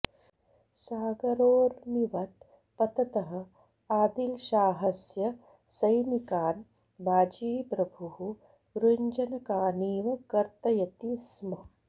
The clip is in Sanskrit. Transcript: सागरोर्मिवत् पततः आदिलशाहस्य सैनिकान् बाजीप्रभुः गृञ्जनकानीव कर्तयति स्म